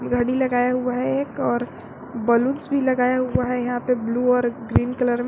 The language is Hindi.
घड़ी लगाया हुआ है एक और बलूंस भी लगाया हुआ है यहां पे ब्लू और ग्रीन कलर में।